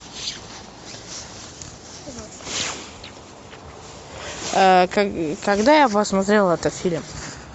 когда я посмотрел этот фильм